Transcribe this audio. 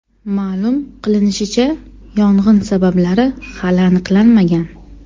Ma’lum qilinishicha, yong‘in sabablari hali aniqlanmagan.